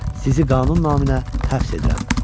Sizi qanun naminə həbs edirəm.